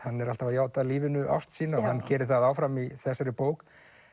hann er alltaf að játa lífinu ást sína og hann gerir það áfram í þessari bók